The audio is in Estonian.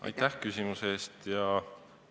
Aitäh küsimuse eest!